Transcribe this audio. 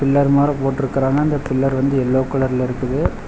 Pillar மாற போட்ருக்குறாங்க அந்த பில்லர் வந்து எல்லோ கலர்ல இருக்குது.